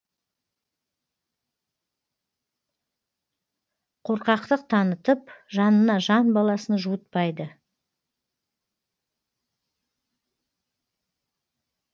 қорқақтық танытып жанына жан баласын жуытпайды